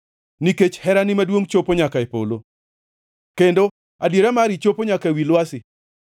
Nikech herani maduongʼ chopo nyaka e polo; kendo adiera mari chopo nyaka ewi lwasi.